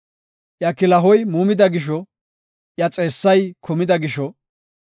“Iya kilahoy muumida gisho, iya xeessay kumida gisho,